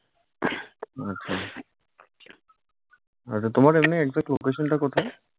আচ্ছা আচ্ছা তোমার এমনি exact location টা কোথায়?